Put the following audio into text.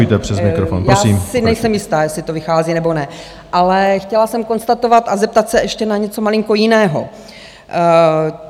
Já si nejsem jistá, jestli to vychází nebo ne, ale chtěla jsem konstatovat a zeptat se ještě na něco malinko jiného.